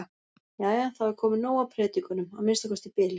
Jæja, þá er komið nóg af predikunum, að minnsta kosti í bili.